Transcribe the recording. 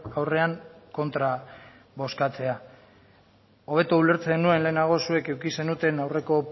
aurrean kontra bozkatzea hobeto ulertzen nuen lehenago zuek eduki zenuten aurreko